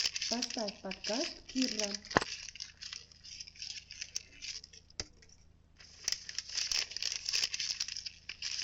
поставь подкаст кирра